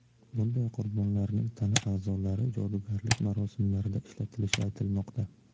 Bunday qurbonlarning tana a’zolari jodugarlik marosimlarida ishlatilishi aytilmoqda.